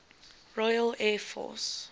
royal air force